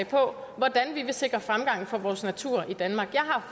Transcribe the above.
på hvordan vi vil sikre fremgang for vores natur i danmark jeg har